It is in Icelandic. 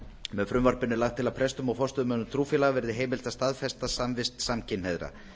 með frumvarpinu er lagt til að prestum og forstöðumönnum trúfélaga verði heimilt að staðfesta samvist samkynhneigðra